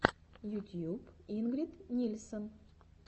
ютьюб ингрид нильсен